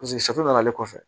n'ale kɔfɛ